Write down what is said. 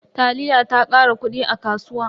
Taliya ta kara kudi a kasuwa.